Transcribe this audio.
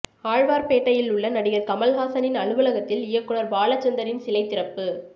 ஆழ்வார்பேட்டையில் உள்ள நடிகர் கமல்ஹாசனின் அலுவலகத்தில் இயக்குனர் பாலச்சந்தரின் சிலை திறப்பு